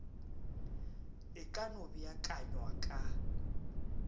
e ka no beakanywa ka